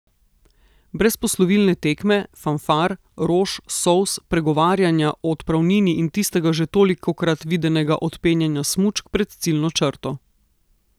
Brez poslovilne tekme, fanfar, rož, solz, pregovarjanja o odpravnini in tistega že tolikokrat videnega odpenjanja smučk pred ciljno črto.